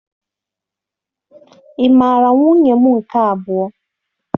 Ị mara nwunye m nke abụọ?